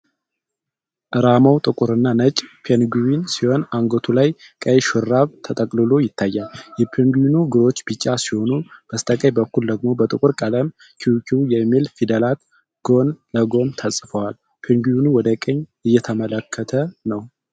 ርማው ጥቁርና ነጭ ፔንግዊን ሲሆን አንገቱ ላይ ቀይ ሹራብ ተጠቅልሎ ይታያል። የፔንግዊኑ እግሮች ቢጫ ሲሆኑ በስተቀኝ በኩል ደግሞ በጥቁር ቀለም "QQ" የሚል ፊደላት ጎን ለጎን ተጽፈዋል። ፔንግዊኑ ወደ ቀኝ እየተመለከተ ነው።